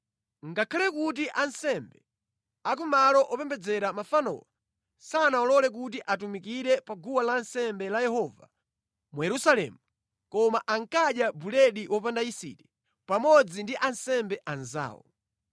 Ngakhale kuti ansembe a ku malo opembedzera mafanowo sanawalole kuti atumikire pa guwa lansembe la Yehova mu Yerusalemu, koma ankadya buledi wopanda yisiti pamodzi ndi ansembe anzawo.